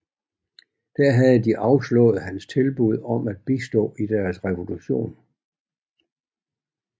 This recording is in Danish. Der havde de afslået hans tilbud om at bistå i deres revolution